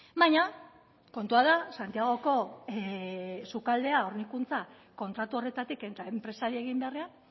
baina kontua da santiagoko sukaldea hornikuntza kontratu horretatik eta enpresari egin beharrean